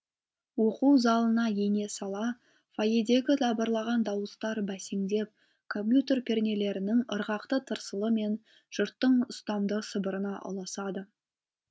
оқу залына ене сала фойедегі дабырлаған дауыстар бәсеңдеп компьютер пернелерінің ырғақты тырсылы мен жұрттың ұстамды сыбырына ұласады